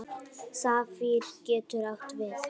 Safír getur átt við